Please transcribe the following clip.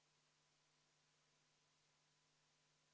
Head ametikaaslased, Eesti Konservatiivse Rahvaerakonna palutud vaheaeg on lõppenud.